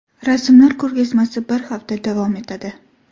Rasmlar ko‘rgazmasi bir hafta davom etadi.